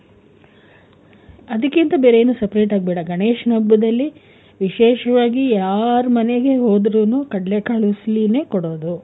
ಅದಕ್ಕಿಂತ ಬೇರೆ ಏನು separate ಆಗಿ ಬೇಡ. ಗಣೇಶನ್ ಹಬ್ಬದಲ್ಲಿ ವಿಶೇಷವಾಗಿ ಯಾರ್ ಮನೆಗೆ ಹೋದ್ರುನು ಕಡ್ಲೆ ಕಾಳು ಉಸ್ಲಿನೆ ಕೊಡೋದು.